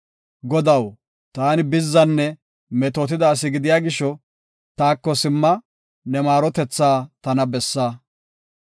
Godaw, taani bizzanne metootida asi gidiya gisho, taako simma; ne maarotethaa tana bessa.